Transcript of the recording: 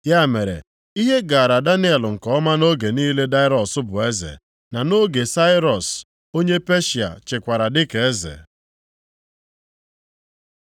Ya mere, ihe gaara Daniel nke ọma nʼoge niile Daraiọs bụ eze, na nʼoge Sairọs onye Peshịa chịkwara dịka eze.